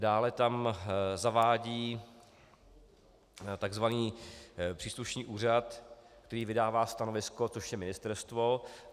Dále tam zavádí tzv. příslušný úřad, který vydává stanovisko, což je ministerstvo.